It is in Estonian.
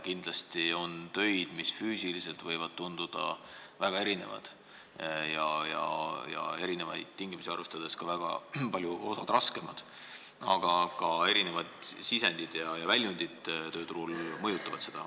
Kindlasti on töid, mis füüsiliselt võivad tunduda väga erinevad ja erinevaid tingimusi arvestades on osa neist raskemad, ka erinevad sisendid ja väljundid tööturul mõjutavad seda tasu.